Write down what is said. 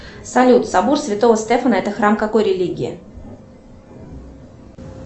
салют собор святого стефана это храм какой религии